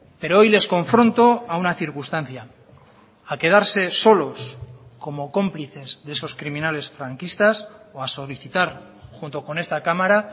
pero hoy les confronto a una circunstancia a quedarse solos como cómplices de esos criminales franquistas o a solicitar junto con esta cámara